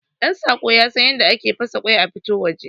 Ɗantsako yasan yadda ake fasa kwai a fito waje